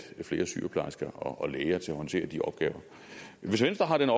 flere sygeplejersker og læger til at håndtere de opgaver hvis venstre har den